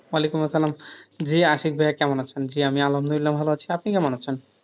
ওয়ালাইকুমুস সালাম।, জি, আশিক ভাইয়া কেমন আছেন? জি, আমি আলহামদুলিল্লাহ ভালো আছি, আপনি কেমন আছেন?